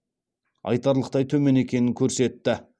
айтарлықтай төмен екенін көрсетті